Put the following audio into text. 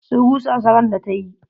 Sun rusa sa ran da ta yi.